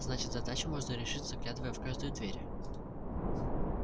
значит задачу можно решить заглядывая в каждую дверь